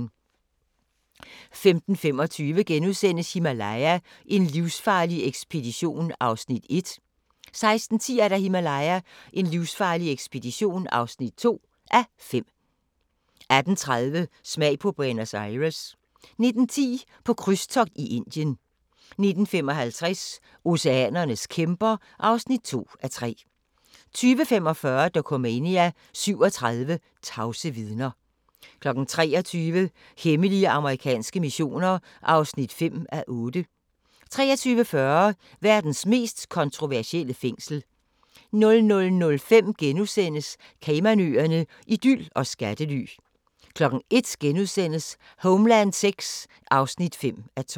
15:25: Himalaya: en livsfarlig ekspedition (1:5)* 16:10: Himalaya: en livsfarlig ekspedition (2:5) 18:30: Smag på Buenos Aires 19:10: På krydstogt i Indien 19:55: Oceanernes kæmper (2:3) 20:45: Dokumania: 37 tavse vidner 23:00: Hemmelige amerikanske missioner (5:8) 23:40: Verdens mest kontroversielle fængsel 00:05: Caymanøerne – idyl og skattely * 01:00: Homeland VI (5:12)*